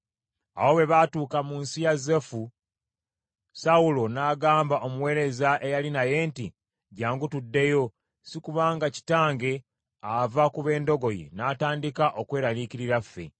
Awo bwe baatuuka mu nsi ya Zufu, Sawulo n’agamba omuweereza eyali naye nti, “Jjangu tuddeyo, sikuba nga kitange ava ku b’endogoyi, n’atandika okweraliikirira ffe.”